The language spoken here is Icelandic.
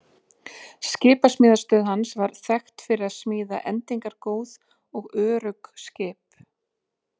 Skipasmíðastöð hans var þekkt fyrir að smíða endingargóð og örugg skip.